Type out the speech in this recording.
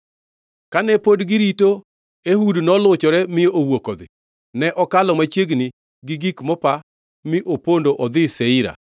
Kane pod girito, Ehud noluchore mi owuok odhi. Ne okalo machiegni gi gik mopa mi opondo odhi Seira.